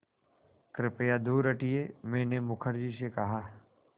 कृपया दूर हटिये मैंने मुखर्जी से कहा